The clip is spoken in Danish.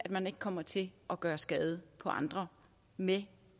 man ikke kommer til at gøre skade på andre med